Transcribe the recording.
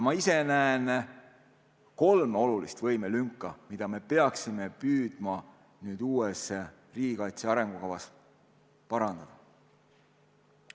Ma ise näen kolme olulist võimelünka, mida me peaksime püüdma nüüd uue riigikaitse arengukavaga täita.